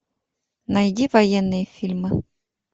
найди военные фильмы